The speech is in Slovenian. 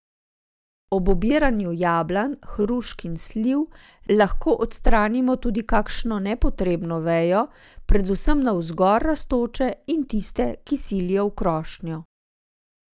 Ob obiranju jablan, hrušk in sliv lahko odstranimo tudi kakšno nepotrebno vejo, predvsem navzgor rastoče in tiste, ki silijo v krošnjo.